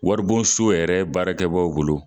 Waribon so yɛrɛ baarakɛ baaw bolo.